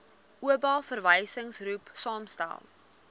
oba verwysingsgroep saamgestel